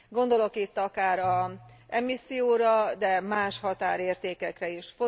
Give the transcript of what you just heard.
Gondolok itt akár az emisszióra, de más határértékekre is.